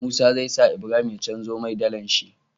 Musa zai sa Ibrahim ya canjo mai dalar shi